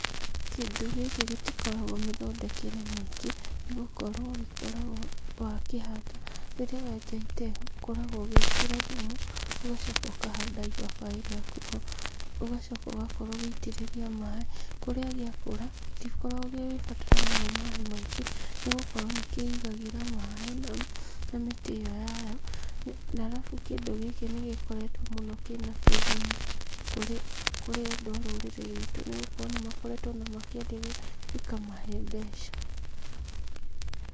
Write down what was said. Kĩndũ gĩkĩ gĩtikoragwo mĩthondekere mĩingĩ nĩgũkorwo gĩkoragwo wakĩhanda, rĩrĩa wenja itehu, ũkoragwo ũgĩkĩra thumu, ũgacoka ũkahanda ibabaĩ rĩaku ho, ũgacoka ũgakorwo ũgitĩrĩria maaĩ, kũrĩa gĩakũra, gĩtikoragwo gĩgĩbatara mũno maaĩ maingĩ, nĩgũkorwo nĩkĩigagĩra maĩ na mĩtĩ ĩyo yayo, na arabu kĩndũ gĩkĩ nĩgĩkoretwo mũno kĩna kĩguni kũrĩ andũ a rũrĩrĩ ruitũ nĩgũkorwo nĩmakoretwo ona makĩrndia gĩkamahe mbeca.